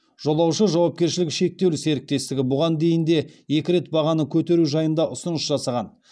жолаушы жауапкершілігі шектеулі серіктестігі бұған дейін де екі рет бағаны көтеру жайында ұсыныс жасаған